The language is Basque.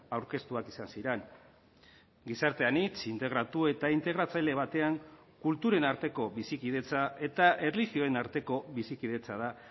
aurkeztuak izan ziren gizarte anitz integratu eta integratzaile batean kulturen arteko bizikidetza eta erlijioen arteko bizikidetza da